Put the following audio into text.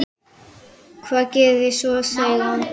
Hvað gerir þig svona seigan?